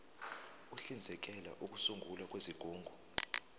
uhlinzekela ukusungulwa kwezigungu